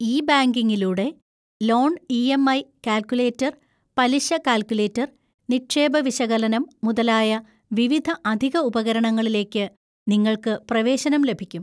E ബാങ്കിംഗിലൂടെ, loan EMI. Calculator, പലിശ calculator, നിക്ഷേപ വിശകലനം മുതലായ വിവിധ അധിക ഉപകരണങ്ങളിലേക്ക് നിങ്ങൾക്ക് പ്രവേശനം ലഭിക്കും.